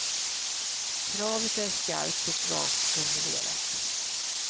Kravet är skarpt och rakt formulerat.